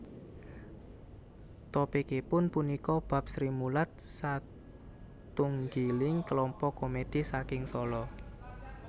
Topikipun punika bab Srimulat satunggiling kelompok komédhi saking Sala